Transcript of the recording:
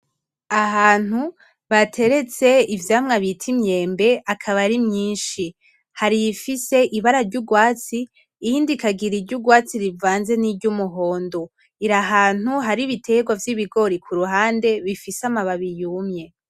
Ahantu bateretse ivyamwa bita imyembe akaba ari myinshi, hari iyifise ibara ryurwatsi iyindi ikagira iryurwatsi rivanze n'iryumuhondo irahantu hari ibiterwa vyibigori kuruhande bifise amababi yumye .